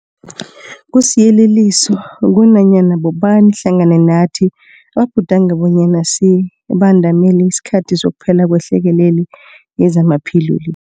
Kusiyeleliso kunanyana bobani hlangana nathi ababhudanga bonyana sibandamele isikhathi sokuphela kwehlekelele yezamaphilo le.